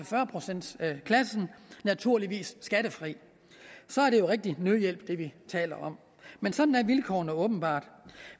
fyrre procentsklassen naturligvis skattefrit så er det jo rigtig nødhjælp vi taler om men sådan er vilkårene åbenbart